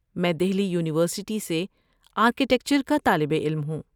میں دہلی یونیورسٹی سے آرکیٹیکچر کا طالب علم ہوں۔